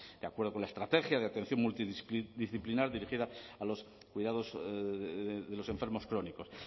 de acuerdo con la estrategia de atención multidisciplinar dirigida a los cuidados de los enfermos crónicos